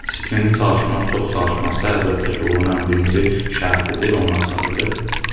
İntizamlı çalışmaq, çox çalışmaqsa əlbəttə ki, uğurun ən birinci şərtidir, onun açarıdır.